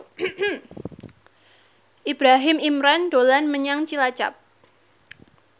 Ibrahim Imran dolan menyang Cilacap